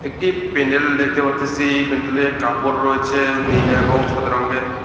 একটি প্যান্ডেল দেখতে পারতেসি প্যান্ডেলের কাপড় রয়েছে নীল এবং সাদা রঙ্গের।